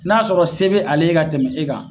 N'a sɔrɔ se bɛ ale ye ka tɛmɛ e kan